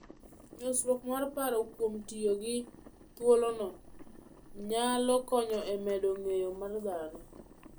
Nyosruok mar paro kuom tiyo gi thuolono, nyalo konyo e medo ng'eyo mar dhano.